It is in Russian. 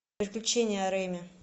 приключения реми